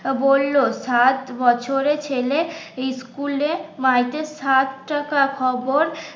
বলল সাত বছরে ছেলে ইস্কুলে সাত টাকা খবর